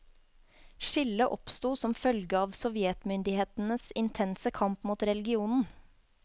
Skillet oppstod som følge av sovjetmyndighetenes intense kamp mot religionen.